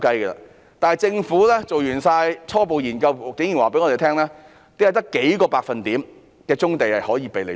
然而，政府在完成所有初步研究後，竟然告訴我們只有數個百分點的棕地可供使用。